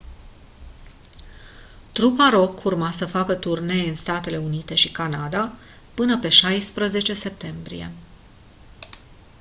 trupa rock urma să facă turnee în statele unite și canada până pe 16 septembrie